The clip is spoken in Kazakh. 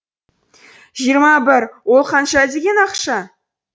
жиырма бір ол қанша деген ақша